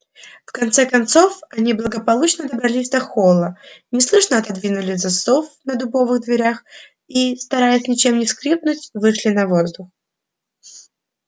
в конце концов они благополучно добрались до холла неслышно отодвинули засов на дубовых дверях и стараясь ничем не скрипнуть вышли на воздух